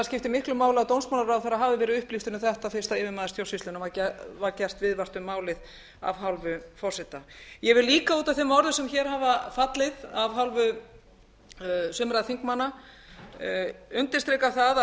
skipti miklu máli að dómsmálaráðherra hafi verið upplýstur um þetta fyrst yfirmanni stjórnsýslunnar var gert viðvart um málið af hálfu forseta ég vil líka út af þeim orðum sem hér hafa fallið af hálfu sumra þingmanna undirstrika að